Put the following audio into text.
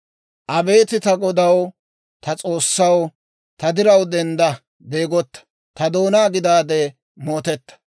Abeet ta Godaw, ta S'oossaw, Ta diraw dendda; beegota ta doonaa gidaade mootetta.